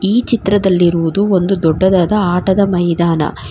ಈ ಚಿತ್ರದಲ್ಲಿರುವುದು ಒಂದು ದೊಡ್ಡದಾದ ಆಟದ ಮೈದಾನ.